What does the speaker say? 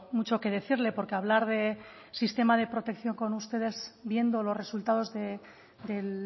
mucho que decirle porque hablar de sistema de protección con ustedes viendo los resultados de